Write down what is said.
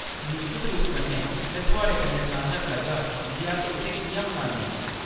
निश्चत रूप कन्नै ! में थुआढ़े कन्नै सांझा करगी जे अस इत्थै किʼयां मनान्ने आं ।